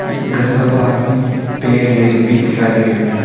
इस घर का बाहर में पेड़ ये सब भी दिखाई दे रहे हैं।